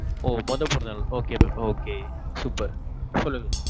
ஓ மொதோ பிறந்த நாள் okay mam okay Super சொல்லுங்க.